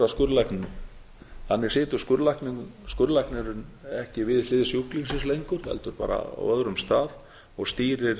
skurðlækninum þannig situr skurðlæknirinn ekki við hlið sjúklingsins lengur heldur bara á öðrum stað og stýrir